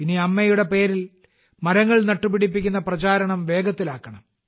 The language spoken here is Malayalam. ഇനി അമ്മയുടെ പേരിൽ മരങ്ങൾ നട്ടുപിടിപ്പിക്കുന്ന പ്രചാരണം വേഗത്തിലാക്കണം